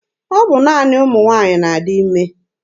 Ọ bụ naanị ụmụ nwaanyị na-adị ime.